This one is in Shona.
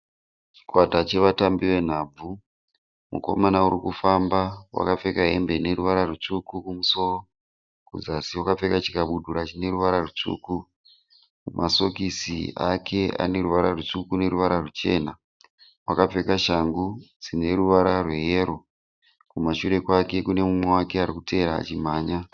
Chikwata chevatambi venhabvu. Mukomana urikufamba wakapfeka hembe ine ruvara rutsvuku kumusoro. Kuzasi wakapfeka chikabudura chine ruvara rutsvuku. Masokisi ake ane ruvara rutsvuku neruvara ruchena. Wakapfeka shangu dzine ruvara rweyero. Kumashure kwake kune mumwe wake arikutevera achimhanya.